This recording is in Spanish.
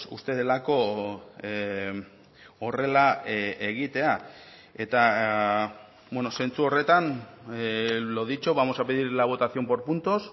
uste delako horrela egitea eta zentzu horretan lo dicho vamos a pedir la votación por puntos